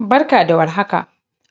Barka da war haka,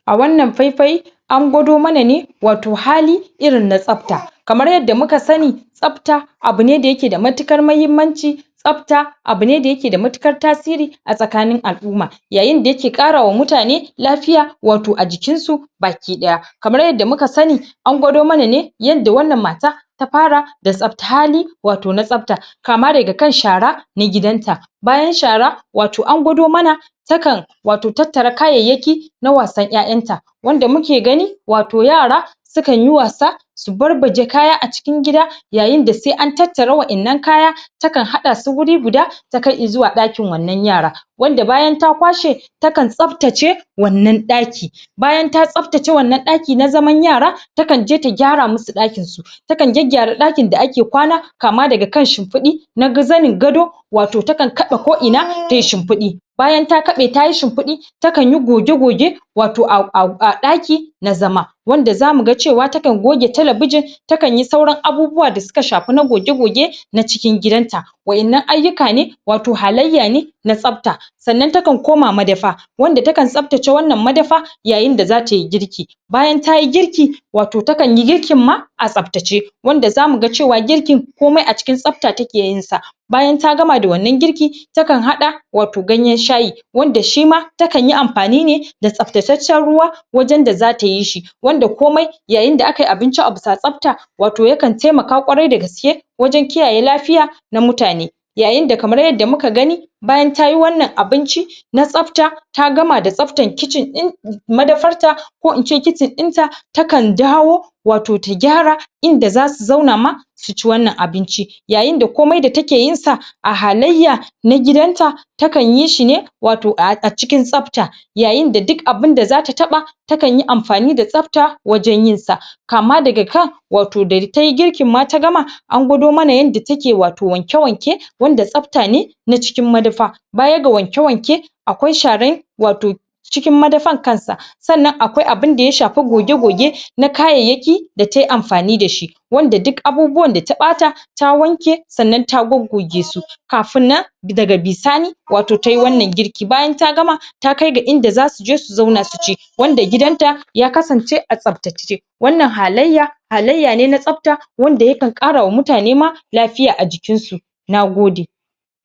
a wannan fai-fai an gwado mana ne wato hali irinna tsapta kamar yadda muka sani tsapta abune da yake da matuƙar mahimmanci tsapta abune da yake da matuƙar tasiri a tsakanin al'uma. Yayinda yake ƙarawa mutane lafiya wato a jikin su baki ɗaya, kamar yadda muka sani an gwado mana ne yanda wannan mata ta para da tsaptali wato na tsapta, kama daga kan shara na gidanta, bayan shara wato an gwado mana takan wato tattara kayayyaki na wasan ƴaƴanta wanda muke gani wato yara, sukanyi wasa su barbaje kaya a cikin gida yayinda se an tattara wa'innan kaya takan haɗasu wuri huda takai izuwa ɗakin wannan yara wanda bayan ta kwashe takan tsaftace wannan ɗaki. Bayan ta tsaftace wannan daki na zaman yara takan je ta gyara musu ɗakin su takan gyagyara ɗakin da ake kwana kama daga kan shimpiɗi na ga zanin gado wato takan kaɗa ko ina tayi shimpiɗi bayan ta kaɓe tayi shimpiɗi takanyi goge-goge wato a a a ɗaki na zama wanda za muga cewa takan goge talabijin takanyi sauran abubuwa da suka shapi na goge goge na cikin gidanta. Wa'innan ayyuka ne wato halayya ne na tsapta sannan takan koma madafa wabda takan tsaftace wannan madafa yayinda za tayi girki bayan tayi girki wato takanyi girkin ma a tsaptace, wanda za muga cewa kirkin komai a cikin tsapta ta ke yinsa bayan ta gama da wannan girkin takan haɗa wato ganyan shayi wanda shima takanyi amfani ne da tsaptataccen ruwa wajan da zata yi shi wanda komai yayinda akayi abinci a bisa tsapta wato yakan taimaka ƙwarai da gaske wajan kiyaye lafiya na mutane. Yayinda kamar yadda muka gani bayan tayi wannan abinci na tsapta ta gama da tsaptar kitchen din madafar ta ko ince kitchen ɗinta, takan dawo wato ta gyara inda za su zauna ma su ci wannan abinci, yayinda komai da ta ke yinsa a halayya na gidanta takan yi shi ne wato a a cikin tsapta yayinda duk abinda zata taɓa takanyi ampani da tsapta wajan yinsa kama daga kan wato da tayi girkin ma ta gama an gwado mana yanda ta ke wato wanke-wanke wanda tsapta ne na cikin madafa baya ga wanke-wanke akwai share wato cikin madafan kansa sannan akwai abinda ya shafa goge-goge na kayayyaki da tayi amfani da shi, wanda duk abubuwan da ta ɓata ta wanke sannan ta goggoge su kafin nan daga bisani wato tayi wannan girki. Bayan ta gama takai ga inda zasu je su zauna su ci wanda gidan ta ya kasance a tsaptace wannan halayya, halayya ne na tsapta wanda yakan ƙarawa mutane ma lafiya a jikin su, nagode.